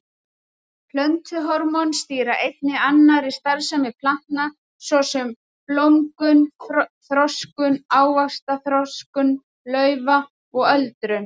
Plöntuhormón stýra einnig annarri starfsemi plantna svo sem blómgun, þroskun ávaxta, þroskun laufa og öldrun.